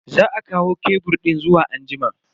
Za a kawo kebur din zuwa anjima.